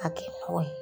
A kɛ mɔgɔ ye